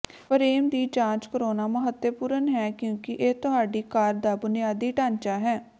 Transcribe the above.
frame ਦੀ ਜਾਂਚ ਕਰਾਉਣਾ ਮਹੱਤਵਪੂਰਨ ਹੈ ਕਿਉਂਕਿ ਇਹ ਤੁਹਾਡੀ ਕਾਰ ਦਾ ਬੁਨਿਆਦੀ ਢਾਂਚਾ ਹੈ